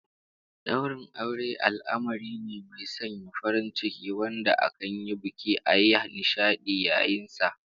Daurin aure al'amari me mai sanya farin ciki wanda akan yi buki a yi nishadi yayin sa